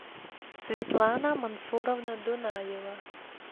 светлана мансуровна дунаева